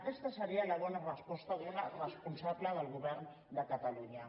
aquesta seria la bona resposta d’una responsable del govern de catalunya